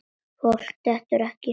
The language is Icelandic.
Fólk dettur ekkert í sundur.